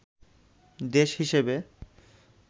দেশ হিসেবে